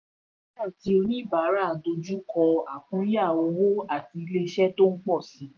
ilé-iṣẹ́ ati oníbàárà dojú kọ àkúnya owó àti iṣẹ́ tó ń pọ̀ síi.